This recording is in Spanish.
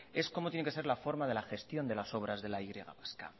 es cómo tiene que ser la forma de la gestión de las obras de la y vasca